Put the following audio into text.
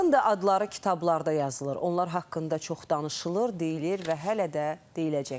Onların da adları kitablarda yazılır, onlar haqqında çox danışılır, deyilir və hələ də deyiləcək.